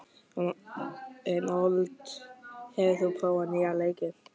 Reinhold, hefur þú prófað nýja leikinn?